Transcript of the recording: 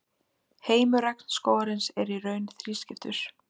heimur regnskógarins er í raun þrískiptur